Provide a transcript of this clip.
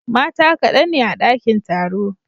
Mata kadan ne a dakin taro.